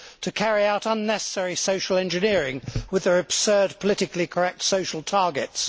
to carry out unnecessary social engineering with their absurd politically correct social targets